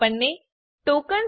આપણને ટોકન્સ